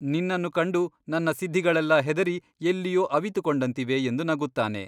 ನಿನ್ನನ್ನು ಕಂಡು ನನ್ನ ಸಿದ್ಧಿಗಳೇಲ್ಲ ಹೆದರಿ ಎಲ್ಲಿಯೋ ಅವಿತುಕೊಂಡಂತಿವೆ ಎಂದು ನಗುತ್ತಾನೆ.